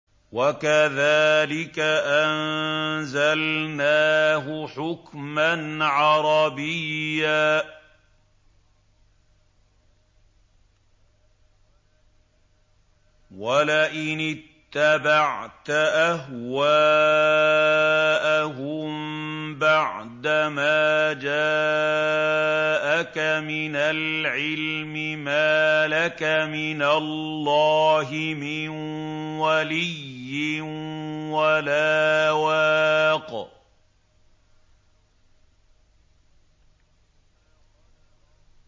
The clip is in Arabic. وَكَذَٰلِكَ أَنزَلْنَاهُ حُكْمًا عَرَبِيًّا ۚ وَلَئِنِ اتَّبَعْتَ أَهْوَاءَهُم بَعْدَمَا جَاءَكَ مِنَ الْعِلْمِ مَا لَكَ مِنَ اللَّهِ مِن وَلِيٍّ وَلَا وَاقٍ